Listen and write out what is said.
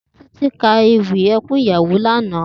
Titi kà éwì ékùn iyàwó làná